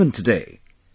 even today...